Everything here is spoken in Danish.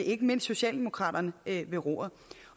ikke mindst socialdemokraterne ved roret